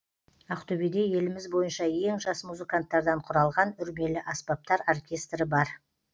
ақтөбеде еліміз бойынша ең жас музыканттардан құралған үрмелі аспаптар оркестрі бар